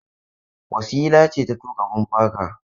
Wasila ce ta tuƙa bumper car.